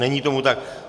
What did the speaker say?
Není tomu tak.